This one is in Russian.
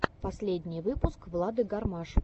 последний выпуск влады гармаш